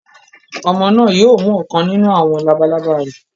Ọmọ náà yóò mú ọ̀kan nínú àwọn labalábá rẹ.